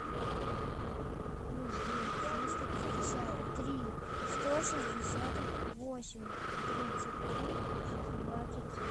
плюс девять триста пятьдесят три сто шестьдесят восемь тридцать три двадцать семь